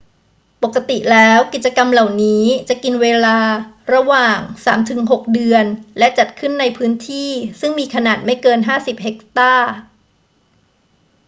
ปกติแล้วกิจกรรมเหล่านี้จะกินเวลาระหว่างสามถึงหกเดือนและจัดขึ้นในพื้นที่ซึ่งมีขนาดไม่เกิน 50 เฮกตาร์